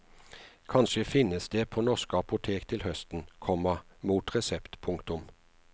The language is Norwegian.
Kanskje finnes det på norske apotek til høsten, komma mot resept. punktum